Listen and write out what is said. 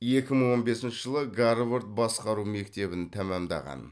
екі мың он бесінші жылы гарвард басқару мектебін тәмамдаған